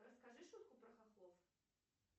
расскажи шутку про хохлов